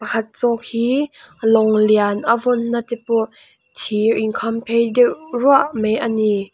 pakhat zawk hi lawng lian a vawnna te pawh thir inkhamphei deuh ruah mai a ni.